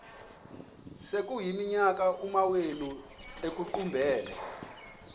sekuyiminyaka amawenu ekuqumbele